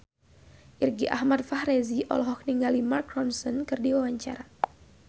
Irgi Ahmad Fahrezi olohok ningali Mark Ronson keur diwawancara